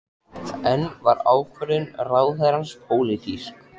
En var ákvörðun ráðherrans pólitísk?